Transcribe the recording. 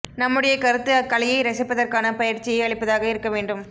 நம்முடைய கருத்து அக்கலையை ரசிப்பதற்கான பயிற்சியை அளிப்பதாக இருக்க வேண்டும்